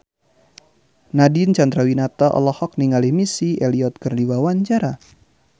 Nadine Chandrawinata olohok ningali Missy Elliott keur diwawancara